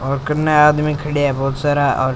और कनने आदमी खड़या है बहोत सारा और --